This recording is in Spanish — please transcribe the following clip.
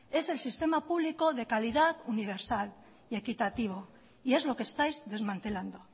es el sistema público de calidad universal y equitativo y es lo que estáis desmantelando